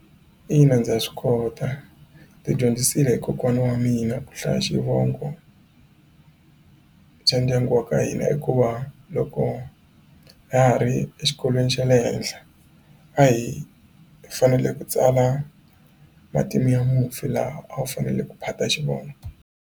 Ina ndza swi kota ndzi dyondzisile hi kokwana wa mina ku hlaya xivongo xa ndyangu wa ka hina hikuva loko ha ha ri exikolweni xa le henhla a hi fanele ku tsala matimu ya mufi laha a wu fanele ku phata xivongo.